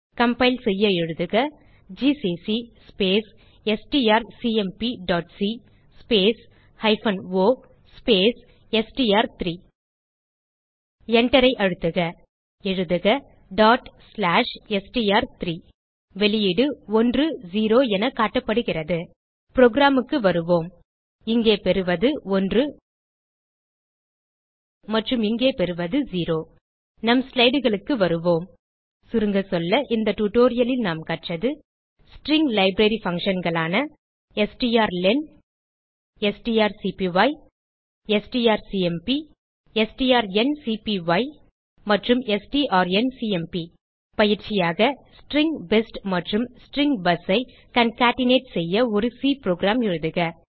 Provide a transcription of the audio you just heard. compile செய்ய எழுதுக GCC space strcmpசி ஸ்பேஸ் ஹைபன் ஒ ஸ்பேஸ் எஸ்டிஆர்3 Enterஐ அழுத்துக எழுதுக str3 வெளியீடு 10 என காட்டப்படுகிறது programக்கு வருவோம் இங்கே பெறுவது 1 மற்றும் இங்கே பெறுவது 0 நம் slideகளுக்கு வருவோம் சுருங்கசொல்ல இந்த டியூட்டோரியல் லில் நாம் கற்றது string library functions strlen strcpy strcmp strncpy மற்றும் strncmp பயிற்சியாக ஸ்ட்ரிங் பெஸ்ட் மற்றும் ஸ்ட்ரிங் busஐ கான்கேட்னேட் செய்ய ஒரு சி புரோகிராம் எழுதுக